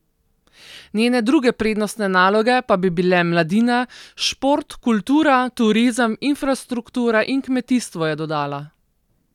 Njene druge prednostne naloge pa bi bile mladina, šport, kultura, turizem, infrastruktura in kmetijstvo, je dodala.